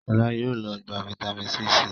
Shola yóò ló gbà vitamin c sí.